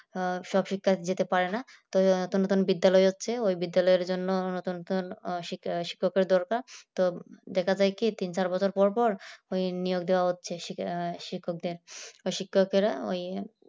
সব শিক্ষার্থীরা যেতে পারে না তো নতুন নতুন বিদ্যালয় হচ্ছে ওই বিদ্যালয় জন্য নতুন নতুন শিক্ষকের দরকার তো সেটা থেকে তিন চার বছর পর পর ওই নিয়োগ দেয়া হচ্ছে শিক্ষক শিক্ষকদের শিক্ষকেরা ওই